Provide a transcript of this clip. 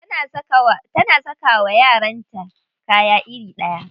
Tana saka wa yaranta kaya iri ɗaya.